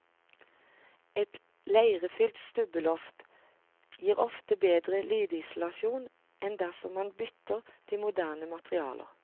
Et leirefylt stubbeloft gir ofte bedre lydisolasjon enn dersom man bytter til moderne materialer.